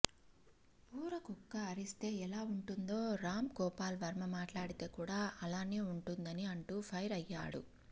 ఊరకుక్క అరిస్తే ఎలా ఉంటుందో రాం గోపాల్ వర్మ మాట్లాడితే కూడ అలానే ఉంటుందని అంటూ ఫైర్ అయ్యాడు